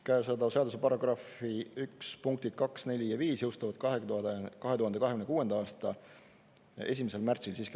Käesoleva seaduse § 1 punktid 2, 4 ja 5 jõustuvad 2026. aasta 1. märtsil siiski.